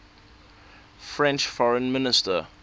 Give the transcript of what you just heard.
french foreign minister